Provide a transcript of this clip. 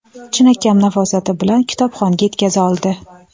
chinakam nafosati bilan kitobxonga yetkaza oldi.